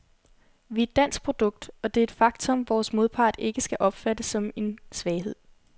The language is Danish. Vi er et dansk produkt, og det er et faktum, vores modpart ikke skal opfatte som en svaghed.